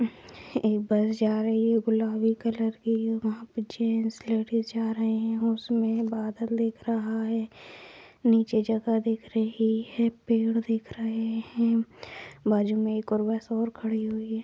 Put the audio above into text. एक बस जा रही है गुलाबी कलर की है वहाँ पर जेंट्स लेडिस जा रहे हैं उसमें बादल दिख रहा है नीचे जगह दिख रही है पेड़ दिख रहें हैं बाजू में एक और बस और खड़ी हुई है।